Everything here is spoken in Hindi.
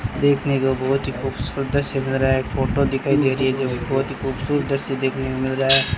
देखने को बहुत ही खूबसूरत दृश्य मिल रहा है फोटो दिखाई दे रही है जो बहुत ही खूबसूरत दृश्य देखने को मिल रहा है।